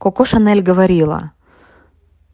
коко шанель говорила